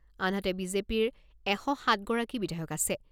আনহাতে, বিজেপিৰ এশ সাতগৰাকী বিধায়ক আছে।